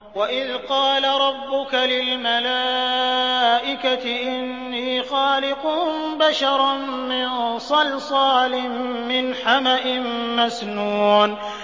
وَإِذْ قَالَ رَبُّكَ لِلْمَلَائِكَةِ إِنِّي خَالِقٌ بَشَرًا مِّن صَلْصَالٍ مِّنْ حَمَإٍ مَّسْنُونٍ